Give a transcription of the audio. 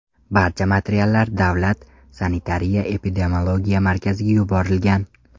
Barcha materiallar Davlat Sanitariya-epidemiologiya markaziga yuborilgan.